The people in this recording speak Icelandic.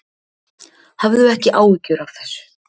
Hafðu ekki áhyggjur af þessu.